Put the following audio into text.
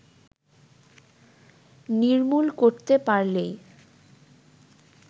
নির্মূল করতে পারলেই